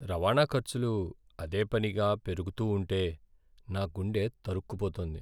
రవాణా ఖర్చులు అదేపనిగా పెరుగుతూ ఉంటే నా గుండె తరుక్కుపోతోంది.